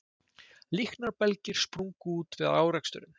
Líknarbelgir sprungu út við áreksturinn